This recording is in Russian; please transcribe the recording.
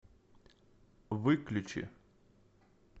выключи